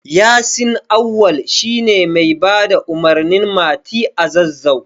Yasin Auwal shi ne mai bada umarnin Mati a Zazzau.